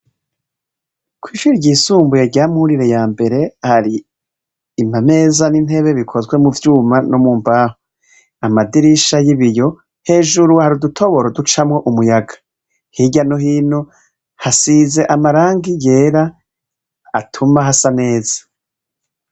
Kw'ishure ryisumbuye rya Mwurire ya mbere, hari amameza n'intebe bikozwe mu vyuma no mu mbaho. Ni amadirisha y'ibiyo, hejuru hari udutoboro ducamwo umuyaga. Hirya no hino hasize amarangi yera tuma hasa neza.